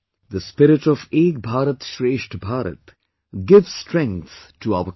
The spirit of 'Ek BharatShreshtha Bharat' gives strength to our country